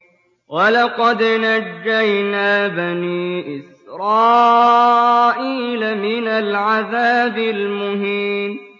وَلَقَدْ نَجَّيْنَا بَنِي إِسْرَائِيلَ مِنَ الْعَذَابِ الْمُهِينِ